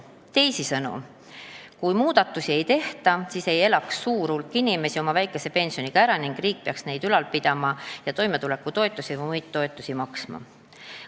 Teisisõnu, kui muudatusi ei tehta, siis ei elaks suur hulk inimesi oma väikese pensioniga ära ning riik peaks neid ülal pidama ja toimetulekutoetusi või muid toetusi maksma.